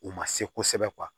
U ma se kosɛbɛ